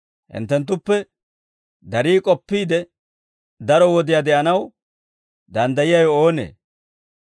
Hinttenttuppe darii k'oppiide daro wodiyaa de'anaw danddayiyaawe oonee?